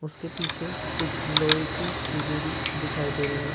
उसके पीछे कुछ लोहे की चीजें भी दिखाई दे रही हैं।